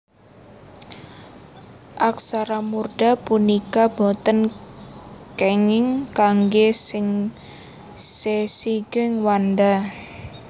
Aksara murda punika boten kénging kanggé sesigeg wanda